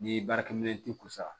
N'i ye baarakɛminɛn t'i kunna